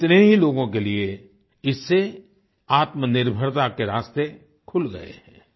कितने ही लोगों के लिए इससे आत्मनिर्भरता के रास्ते खुल गए हैं आई